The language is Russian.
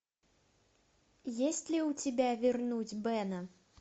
есть ли у тебя вернуть бена